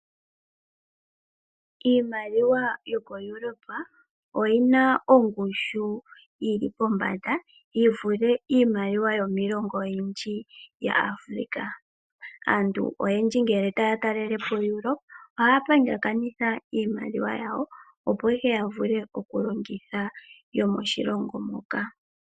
Iimaliwa yokoEuropa oyi na ongushu yili pombanda yi vule iimaliwa yomiilongo oyindji ya Afrika . Aantu oyendji ngele taya talelepo Europa ohaya pingakanitha iimaliwa yawo opo ihe ya vule okulongitha yomoshilongo moka.